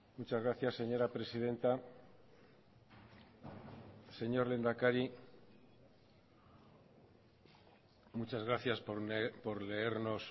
muchas gracias señora presidenta señor lehendakari muchas gracias por leernos